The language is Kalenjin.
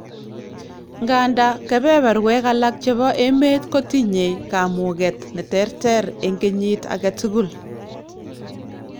ngandan kebeberwek alak chebo emet ko tinye kamuget ne terter en kenyit aketukul